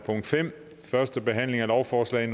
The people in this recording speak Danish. forsøge at